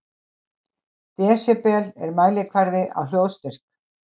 Desibel er mælikvarði á hljóðstyrk.